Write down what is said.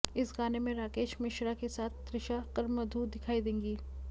इस गाने में राकेश मिश्रा के साथ त्रिशा कर मधु दिखाई देंगी